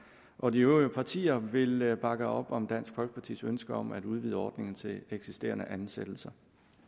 og de øvrige partier vil vil bakke op om dansk folkepartis ønske om at udvide ordningen til eksisterende ansættelser